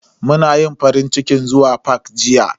Mun yi farincikin zuwa fak jiya.